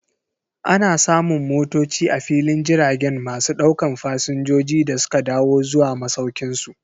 Ana samun motoci a filin jiragen masu daukan Fasinjoji da suka dawo zuwa masaukinsu.